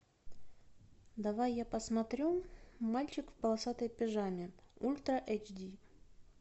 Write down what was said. давай я посмотрю мальчик в полосатой пижаме ультра эйч ди